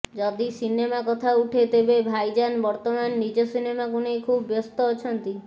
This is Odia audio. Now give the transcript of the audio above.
ଯଦି ସିନେମା କଥା ଉଠେ ତେବେ ଭାଇଜାନ ବର୍ତ୍ତମାନ ନିଜ ସିନେମାକୁ ନେଇ ଖୁବ୍ ବ୍ୟସ୍ତ ଅଛନ୍ତି